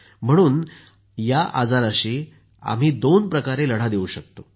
म्हणून आम्ही या आजाराशी दोन प्रकारे लढा देऊ शकतो